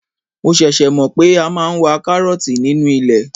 Mo ṣẹ̀ṣẹ̀ mọ̀ pé a máa ń wa karooti nínú ilẹ̀.